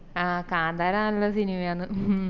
ആഹ് കാന്താര നല്ല സിനിമയാന്ന്